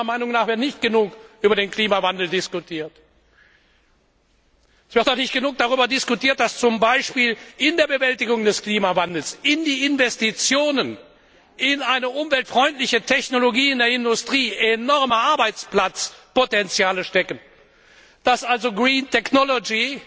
Meiner Meinung nach wird nicht genug über den Klimawandel diskutiert. Es wird auch nicht genügend darüber diskutiert, dass zum Beispiel in der Bewältigung des Klimawandels, in der Investitionen in eine umweltfreundliche Technologie in der Industrie enorme Arbeitsplatzpotenziale stecken, dass also Green Technology